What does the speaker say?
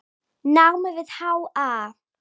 námi við HA.